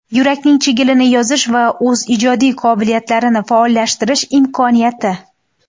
Yurakning chigilini yozish va o‘z ijodiy qobiliyatlarini faollashtirish imkoniyati.